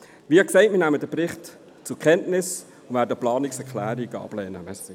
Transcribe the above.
Wie gesagt, nehmen wir den Bericht zur Kenntnis und lehnen die Planungserklärungen ab.